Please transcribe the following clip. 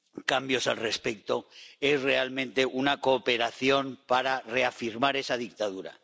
cambios al respecto son realmente una cooperación para reafirmar esa dictadura.